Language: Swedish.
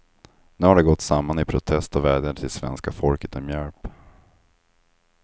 Nu har de gått samman i protest och vädjar till svenska folket om hjälp.